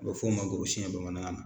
A bɛ f'o ma gorosiyɛn bamanankan na.